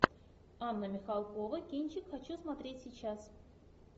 анна михалкова кинчик хочу смотреть сейчас